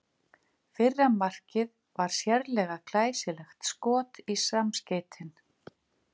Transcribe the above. Fyrra markið var sérlega glæsilegt skot í samskeytin.